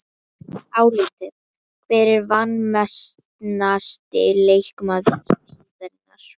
Álitið: Hver er vanmetnasti leikmaður deildarinnar?